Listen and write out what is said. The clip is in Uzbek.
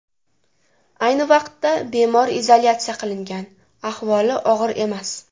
Ayni vaqtida bemor izolyatsiya qilingan, ahvoli og‘ir emas.